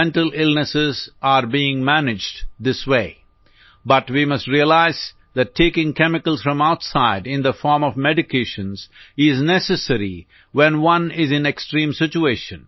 mental illness are being managed this way but we must realize that taking chemicals from outside in the form of medications is necessary when one is in extreme situation